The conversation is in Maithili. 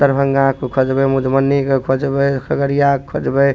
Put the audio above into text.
दरभंगा के खोजबे मधुबनी के खोजबे खगड़िया के खोजबे।